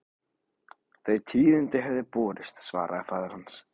Þau tíðindi höfðu borist, svaraði faðir hans.